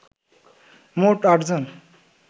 মোট ৮জন